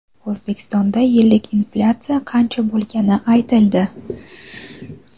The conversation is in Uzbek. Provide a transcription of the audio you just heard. O‘zbekistonda yillik inflyatsiya qancha bo‘lgani aytildi.